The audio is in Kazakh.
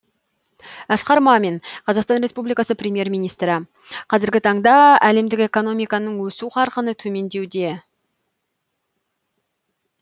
асқар мамин қазақстан республикасының премьер министрі қазіргі таңда әлемдік экономиканың өсу қарқыны төмендеуде